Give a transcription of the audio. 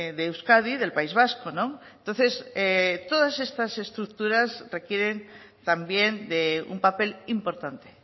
de euskadi del país vasco entonces todas estas estructuras requieren también de un papel importante